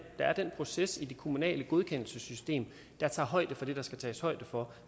er den proces i det kommunale godkendelsessystem der tager højde for det der skal tages højde for